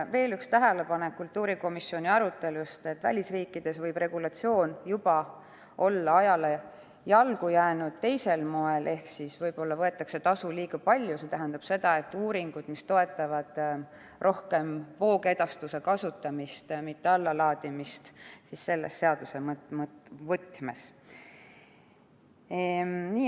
Veel üks tähelepanek kultuurikomisjoni arutelust: välisriikides võib regulatsioon olla juba ajale jalgu jäänud teisel moel ehk võib-olla võetakse tasu liiga palju, see tähendab seda, et uuringud toetavad rohkem voogedastuse kasutamist, mitte allalaadimist selle seaduse võtmes.